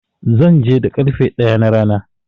Zan je da ƙarfe ɗaya na rana.